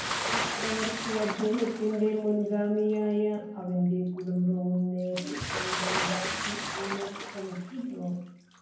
ചക്രവർത്തി അദ്ദേഹത്തിൻറെ മുൻഗാമിയായ അവന്റെ കുടുംബവും നേരെ സ്വന്തം ഭക്തി ഊന്നൽ ശ്രമിക്കുന്നു